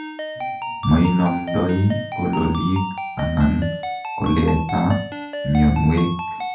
moinomdoi kololik anan koletaa mionwek